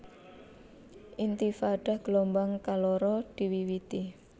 Intifadah gelombang kaloro diwiwiti